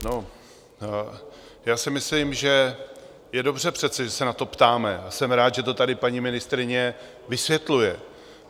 No, já si myslím, že je přece dobře, že se na to ptáme, a jsem rád, že to tady paní ministryně vysvětluje.